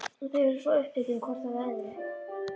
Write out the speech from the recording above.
Þau eru svo upptekin hvort af öðru.